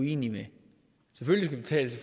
egentlig